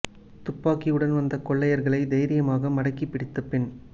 துப்பாக்கியுடன் வந்த கொள்ளையர்களை தைரியமாக மடக்கி பிடித்த பெண்